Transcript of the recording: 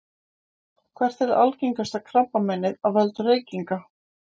hvert er algengasta krabbameinið af völdum reykinga